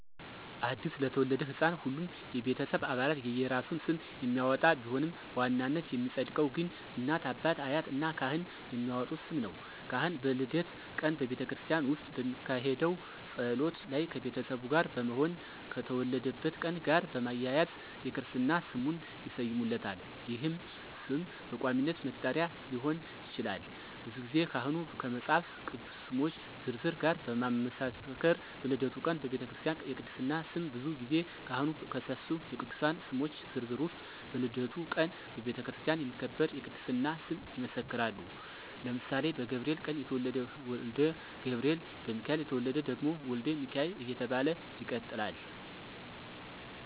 አዲስ ለተወለደ ሕፃን ሁሉም የቤተሰብ አባላት የየራሱን ስም የሚያወጣ ቢሆንም በዋናነት የሚፀድቀው ግን እናት፣ አባት፣ አያት እና ካህን የሚያወጡት ስም ነው። ካህን በልደት ቀን በቤተክርስቲያን ውስጥ በሚካሄደው ጸሎት ላይ ከቤተሰቡ ጋር በመሆን ከተወለደበት ቀን ጋር በማያያዝ የክርስትና ስሙን ይሰይሙታል ይህም ስም በቋሚነት መጠሪያ ሊሆን ይችላል። ብዙ ጊዜ ካህኑ ከመፃፍ ቅዱስ ስሞች ዝርዝር ጋር በማመሳከር በልደቱ ቀን በቤተክርስቲያ የቅድስና ስም ብዙ ጊዜ ካህኑ ከሰፊው የቅዱሳን ስሞች ዝርዝር ውስጥ በልደቱ ቀን በቤተክርስቲያን የሚከበር የቅድስና ስም ይመሰክራሉ ለምሳሌ በገብርኤል ቀን የተወለደ ወልደ ገብርኤል፣ በሚካኤል የተወለደ ደግሞ ወልደ ሚካኤል እየተባለ ይቀጥላለ።